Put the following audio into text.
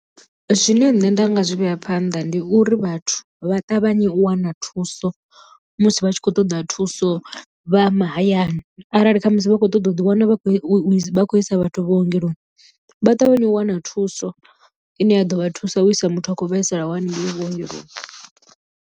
Zwine nṋe nda nga zwi vhea phanḓa ndi uri vhathu vha ṱavhanye u wana thuso musi vha tshi khou ṱoḓa thuso vha mahayani, arali khamusi vha khou ṱoḓa u ḓi wana vha khou isa vhathu vhuongeloni vha ṱavhanye u wana thuso ine ya ḓo vha thusa u isa muthu a khou vhaisalaho hanengei vhuongeloni.